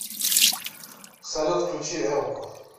салют включи элго